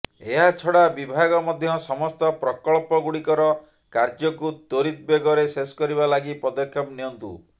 ଏହାଛଡା ବିଭାଗ ମଧ୍ୟ ସମସ୍ତ ପ୍ରକଳ୍ପଗୁଡିକର କାର୍ଯ୍ୟକୁ ତ୍ୱରିତ ବେଗରେ ଶେଷ କରିବା ଲାଗି ପଦକ୍ଷେପ ନିଅନ୍ତୁ